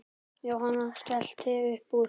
Jóhann skellti upp úr.